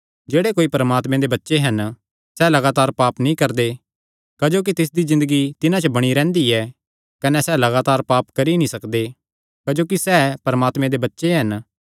जेह्ड़े कोई भी परमात्मे दे बच्चे हन सैह़ लगातार पाप नीं करदे क्जोकि तिसदी ज़िन्दगी तिन्हां च बणी रैंह्दी ऐ कने सैह़ लगातार पाप करी ई नीं सकदे क्जोकि सैह़ परमात्मे दे बच्चे हन